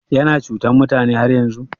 Yana cutan mutane har yanzun?